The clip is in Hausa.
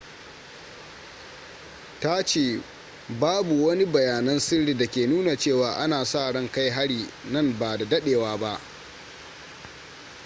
ta ce babu wani bayanan sirri da ke nuna cewa ana sa ran kai hari nan ba da dadewa ba